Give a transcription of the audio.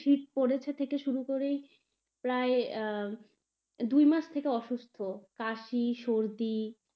শীত পড়েছে থেকে শুরু করেই প্রায় আহ দুই মাস থেকে অসুস্থ কাশি, সর্দি.